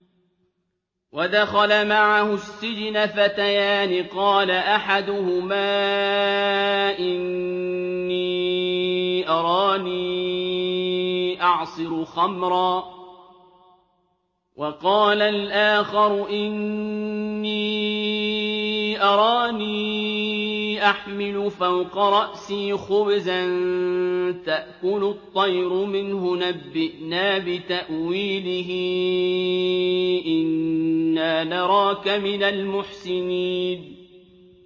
وَدَخَلَ مَعَهُ السِّجْنَ فَتَيَانِ ۖ قَالَ أَحَدُهُمَا إِنِّي أَرَانِي أَعْصِرُ خَمْرًا ۖ وَقَالَ الْآخَرُ إِنِّي أَرَانِي أَحْمِلُ فَوْقَ رَأْسِي خُبْزًا تَأْكُلُ الطَّيْرُ مِنْهُ ۖ نَبِّئْنَا بِتَأْوِيلِهِ ۖ إِنَّا نَرَاكَ مِنَ الْمُحْسِنِينَ